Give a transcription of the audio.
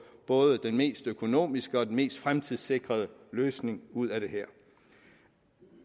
både den mest økonomiske og den mest fremtidssikrede løsning ud af det her